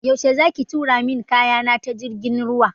Yaushe za ki tura min kaya na ta jirgin ruwa?